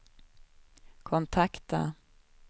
kontakta